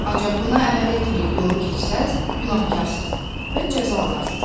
Ancaq buna əməl etməyib yolu keçsəz, günahkarsız və cəza alarsız.